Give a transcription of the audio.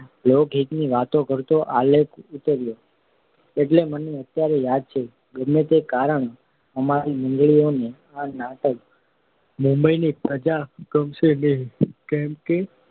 લોકહિતની વાતો કરતો આલેખ્યો હતો, એટલું મને અત્યારે યાદ છે. ગમે તે કારણે અમારી મંડળીવાળાને આ નાટક મુંબઈની પ્રજાને ગમશે નહિ એમ